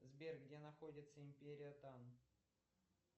сбер где находится империя тан